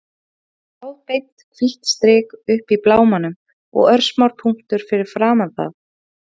Það var þráðbeint, hvítt strik uppi í blámanum og örsmár punktur fyrir framan það.